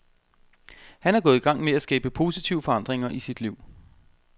Han er gået i gang med at skabe positive forandringer i sit liv.